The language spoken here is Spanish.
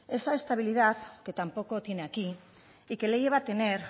esa estabilidad que tampoco tiene aquí y que le lleva a tener